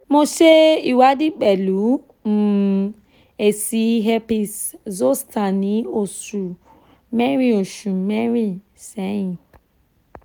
mo se iwadi pelu um eesi Herpes zoster ni osu merin-in ni osu merin-in seyin